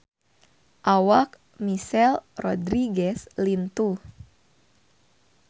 Awak Michelle Rodriguez lintuh